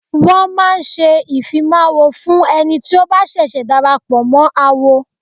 Wọ́n máa ń ṣe ìfimáwo fún ẹni tí ó bá ṣẹ̀ṣẹ̀ darapọ̀ mọ́ awo.